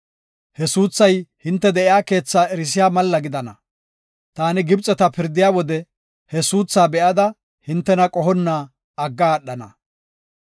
He suuthay hinte de7iya keethaa erisiya malla gidana. Taani Gibxeta pirdiya wode he suuthaa be7ada hintena qohonna agga aadhana.